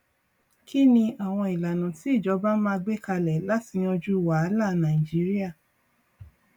kí ni àwọn ìlànà tí ìjọba máa gbé kalẹ láti yanjú wàhálà nàìjíríà